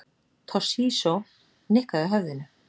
Toshizo nikkaði höfðinu.